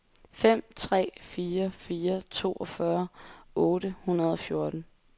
fem tre fire fire toogfyrre otte hundrede og fjorten